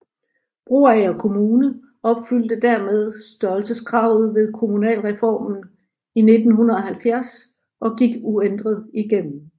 Broager Kommune opfyldte dermed størrelseskravet ved kommunalreformen i 1970 og gik uændret igennem